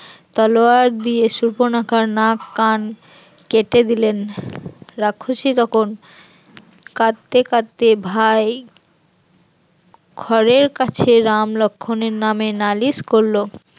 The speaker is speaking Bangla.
তলোয়ার দিয়ে সুর্পনখার নাক কান কেটে দিলেন, রাক্ষসী তখন কাঁদতে কাঁদতে ভাই খরের কাছে রাম লক্ষণ এর নামে নালিশ করলো